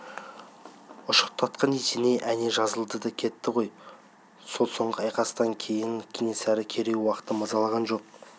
ұшықтатқан есеней әне жазылды да кетті ғой сол соңғы айқастан кейін кенесары керей-уақты мазалаған жоқ